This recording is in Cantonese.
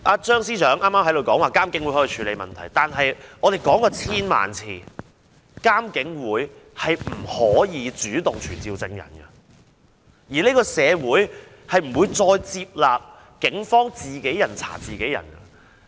張司長剛才說監警會可以處理問題，但我們說了千萬次，監警會不能主動傳召證人，而且社會不會再接納警方自己人查自己人。